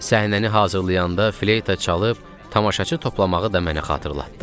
Səhnəni hazırlayanda fleyta çalıb tamaşaçı toplamağı da mənə xatırlatdı.